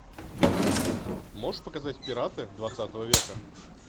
можешь показать пираты двадцатого века